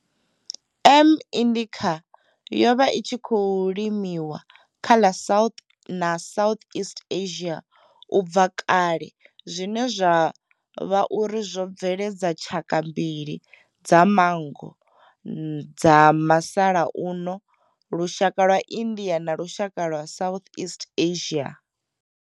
M. indica yo vha i tshi khou limiwa kha ḽa South na South east Asia ubva kale zwine zwa vha uri zwo bveledza tshaka mbili dza manngo dza masalauno lushaka lwa India na lushaka lwa South east Asia.